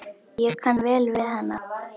Ég kann vel við hana.